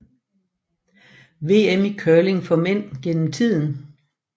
VM i curling for mænd gennem tiden